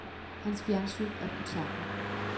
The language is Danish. Hans fjernsyn er brudt sammen.